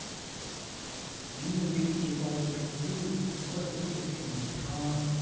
என்ன வேடிக்கை பார் என்று கூறி மகுடபதி சிரிக்க முயன்றான்